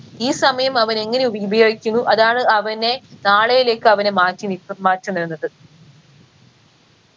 ഈ സമയം അവനെങ്ങനെ ഉപ ഉപയോഗിക്കുന്നു അതാണ് അവനെ നാളെയിലേക്ക് അവനെ മാറ്റി നി